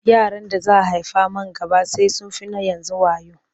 Yaran da za a haifa man gaba sai sun fi na yanzu wayo.